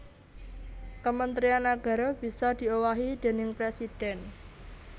Kementrian nagara bisa diowahi déning presidhèn